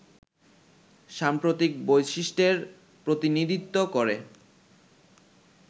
সাম্প্রতিক বৈশিষ্ট্যের প্রতিনিধিত্ব করে